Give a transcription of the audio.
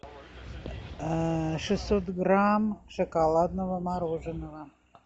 шестьсот грамм шоколадного мороженого